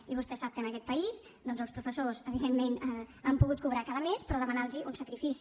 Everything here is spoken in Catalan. i vostè sap que en aquest país doncs els professors evidentment han pogut cobrar cada mes però demanant los un sacrifici